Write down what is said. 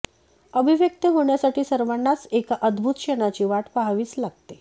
अभिव्यक्त होण्यासाठी सर्वांनाच एका अद्भुत क्षणाची वाट पाहावीच लागते